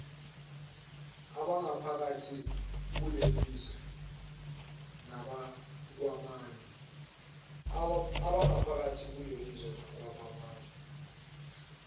abangaphakathi kulelizwe nabakwamanye